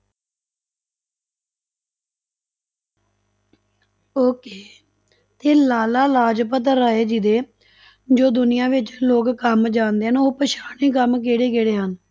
Okay ਤੇ ਲਾਲਾ ਲਾਜਪਤ ਰਾਏ ਜੀ ਦੇ ਜੋ ਦੁਨਿਆ ਵਿੱਚ ਲੋਕ ਕੰਮ ਜਾਣਦੇ ਹਨ, ਉਹ ਪਛਾਣੇ ਕੰਮ ਕਿਹੜੇ ਕਿਹੜੇ ਹਨ?